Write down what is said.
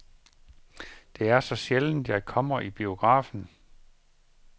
Det er så sjældent jeg kommer i biografen.